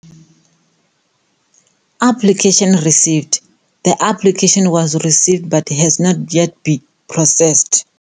Application received, The application was received, but has not yet been processed.